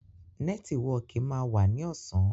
Nẹ́tíwọkì máa wá ní ọ̀sán